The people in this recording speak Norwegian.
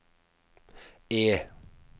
E